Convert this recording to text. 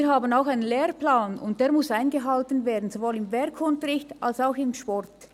Wir haben auch einen Lehrplan, und der muss eingehalten werden, sowohl im Werk- als auch im Sportunterricht.